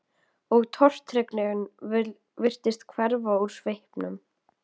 Og tortryggnin virtist hverfa úr svipnum.